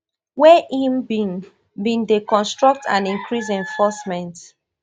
wey im bin bin dey construct and increasing enforcement